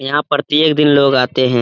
यहाँ प्रतियेक दिन लोग आते है।